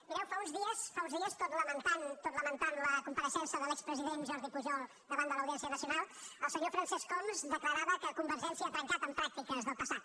mireu fa uns dies tot lamentant la compareixença de l’expresident jordi pujol davant de l’audiència nacional el senyor francesc homs declarava que convergència ha trencat pràctiques del passat